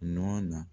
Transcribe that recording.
Nɔ na